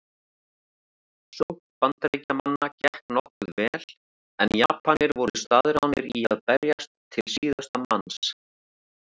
Sókn Bandaríkjamanna gekk nokkuð vel en Japanir voru staðráðnir í að berjast til síðasta manns.